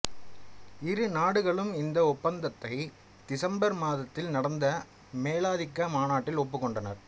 இரு நாடுகளும் இந்த ஒப்பந்தத்தை திசம்பர் மாதத்தில் நடந்த மேலாதிக்க மாநாட்டில் ஒப்புக்கொண்டனர்